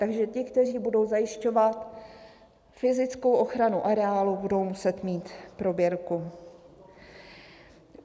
Takže ti, kteří budou zajišťovat fyzickou ochranu areálu, budou muset mít prověrku.